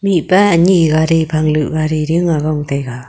mihpa ani gari phang du gari ding aa gong taiga.